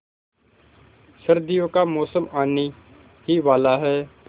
सर्दियों का मौसम आने ही वाला है